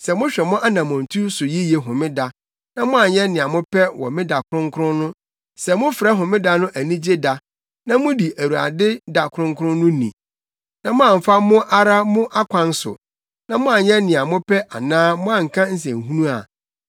“Sɛ mohwɛ mo anammɔntu so yiye Homeda na moanyɛ nea mopɛ wɔ me da kronkron no, sɛ mofrɛ Homeda no anigye da na mudi Awurade da kronkron no ni na moamfa mo ara mo akwan so na moanyɛ nea mopɛ anaa moanka nsɛnhunu a,